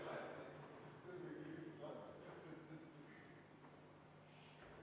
Poolt 1, vastu 20, erapooletuid 0.